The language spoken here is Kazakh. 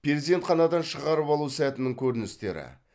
перзентханадан шығарып алу сәтінің көріністері